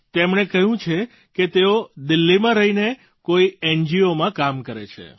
તેમણે કહ્યું છે કે તેઓ દિલ્લીમાં રહીને કોઈ એનજીઓમાં કામ કરે છે